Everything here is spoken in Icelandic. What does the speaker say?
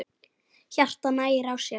Hjartað hægir á sér.